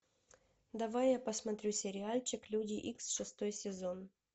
давай я посмотрю сериальчик люди икс шестой сезон